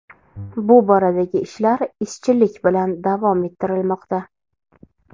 Bu boradagi ishlar izchillik bilan davom ettirilmoqda.